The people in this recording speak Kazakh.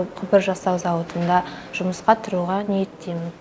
құбыр жасау зауытына жұмысқа тұруға ниеттемін